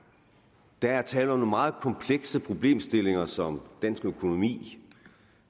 der er tale om nogle meget komplekse problemstillinger som dansk økonomi